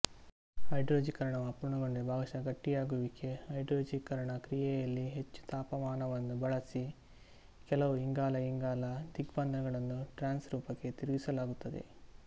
ಹೈಡ್ರೋಜನೀಕರಣವು ಅಪೂರ್ಣಗೊಂಡರೆ ಭಾಗಶಃ ಗಟ್ಟಿಯಾಗುವಿಕೆ ಹೈಡ್ರೋಜನೀಕರಣ ಕ್ರಿಯೆಯಲ್ಲಿ ಹೆಚ್ಚು ತಾಪಮಾನವನ್ನು ಬಳಸಿ ಕೆಲವು ಇಂಗಾಲಇಂಗಾಲ ದ್ವಿಬಂಧಗಳನ್ನು ಟ್ರಾನ್ಸ್ ರೂಪಕ್ಕೆ ತಿರುಗಿಸಲಾಗುತ್ತದೆ